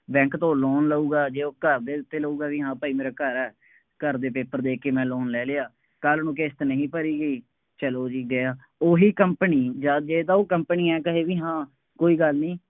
bank ਤੋਂ loan ਲਊਗਾ, ਜੇ ਉਹ ਘਰ ਦੇ ਉੱਤੇ ਲਊਗਾ ਬਈ ਹਾਂ ਭਾਈ ਮੇਰਾ ਘਰ ਹੈ, ਘਰ ਦੇ paper ਦੇ ਕੇ ਮੈਂ loan ਲੈ ਲਿਆ, ਕੱਲ੍ਹ ਨੂੰ ਕਿਸ਼ਤ ਨਹੀਂ ਭਰੀ ਗਈ, ਚੱਲੋ ਜੀ ਗਿਆ, ਉਹੀ company ਯਾਰ ਜੇ ਤਾਂ ਉਹ company ਆਏਂ ਕਹੇ ਬਈ ਹਾਂ ਕੋਈ ਗੱਲ ਨਹੀਂ,